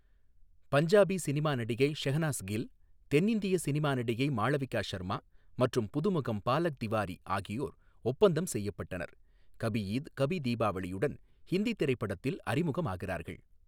Punjabi cinema நடிகை ஷெஹ்னாஸ் கில், தென்னிந்திய cinema நடிகை மாளவிகா ஷர்மா மற்றும் புதுமுகம் பாலக் திவாரி ஆகியோர் ஒப்பந்தம் செய்யப்பட்டனர், கபி ஈத் கபி தீபாவளியுடன் ஹிந்தி திரைப்படத்தில் அறிமுகமாகிறார்கள்.